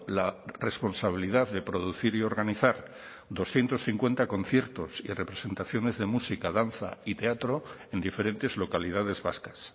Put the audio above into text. la responsabilidad de producir y organizar doscientos cincuenta conciertos y representaciones de música danza y teatro en diferentes localidades vascas